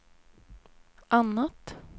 annat